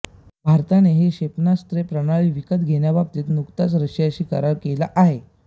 भारताने ही क्षेपणास्त्र प्रणाली विकत घेण्याबाबत नुकताच रशियाशी करार केला आहे